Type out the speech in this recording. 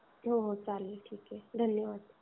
हो हो चालेल ठीक आहे. धन्यवाद.